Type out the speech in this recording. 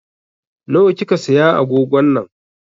Na wa kika siya agogon nan?